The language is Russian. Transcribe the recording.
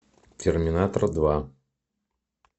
терминатор два